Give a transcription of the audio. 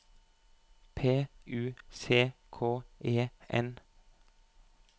P U C K E N